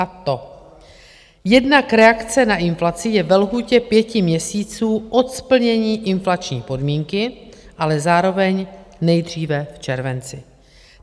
A to - jednak reakce na inflaci je ve lhůtě pěti měsíců od splnění inflační podmínky, ale zároveň nejdříve v červenci.